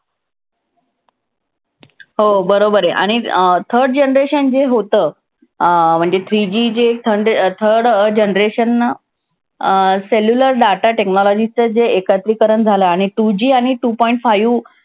हो बरोबर आहे. आणि अं third generation जे होतं अं म्हणजे three G जे third generation अं cellular data technology च जे एकत्रीकरण झालं आणि two G आणि two point five